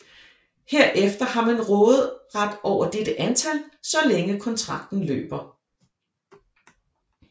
Herefter har man råderet over dette antal så længe kontrakten løber